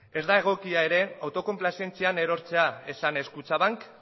ez da egokia ere autokonplazientzian erortzea esanez kutxabank